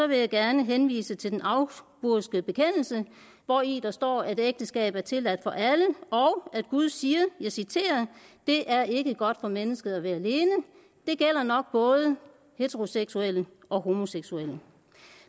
vil jeg gerne henvise til den augsburgske bekendelse hvori der står at ægteskab er tilladt for alle og at gud siger og jeg citerer det er ikke godt for mennesket at være alene det gælder nok både heteroseksuelle og homoseksuelle